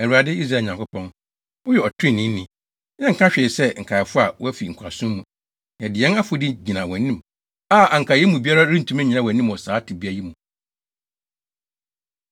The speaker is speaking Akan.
Awurade, Israel Nyankopɔn, woyɛ ɔtreneeni. Yɛnka hwee sɛ nkaefo a wɔafi nkoasom mu. Yɛde yɛn afɔdi gyina wʼanim a anka yɛn mu biara rentumi nnyina wʼanim wɔ saa tebea yi mu.”